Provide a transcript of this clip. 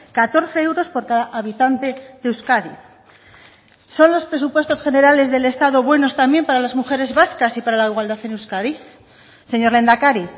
catorce euros por cada habitante de euskadi son los presupuestos generales del estado buenos también para las mujeres vascas y para la igualdad en euskadi señor lehendakari